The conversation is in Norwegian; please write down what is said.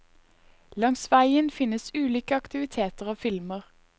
Langs veien finnes ulike aktiviteter og filmer.